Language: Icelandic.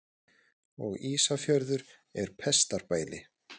Og Ísafjörður er pestarbæli.